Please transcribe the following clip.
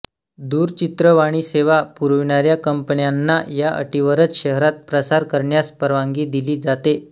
दूरचित्रवाणीसेवा पुरविणाऱ्या कंपन्यांना या अटीवरच शहरात प्रसारण करण्यास परवानगी दिली जाते